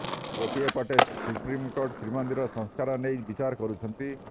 େଗାଟିଏ ପଟେ ସୁପ୍ରିମକୋର୍ଟ ଶ୍ରୀମନ୍ଦିର ସଂସ୍କାର େନଇ ବିଚାର କରୁଛନ୍ତି